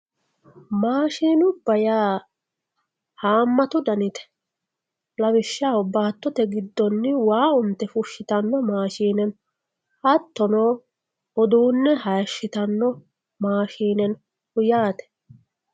maashinubba yaa haammatu danite lawishshaho baattote giddonni waa unte fushshitano maashine no hattono uduunne haashitanno maashine no yaate.